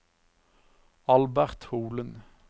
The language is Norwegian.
Albert Holen